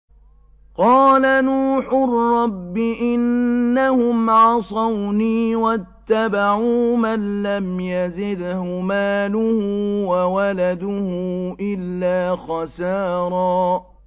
قَالَ نُوحٌ رَّبِّ إِنَّهُمْ عَصَوْنِي وَاتَّبَعُوا مَن لَّمْ يَزِدْهُ مَالُهُ وَوَلَدُهُ إِلَّا خَسَارًا